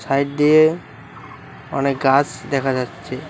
Side দিয়ে অনেক গাছ দেখা যাচ্ছে।